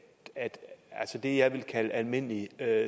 det jeg vil kalde almindelig